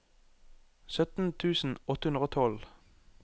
sytten tusen åtte hundre og tolv